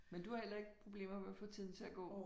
Men du har heller ikke problemer med at få tiden til at gå?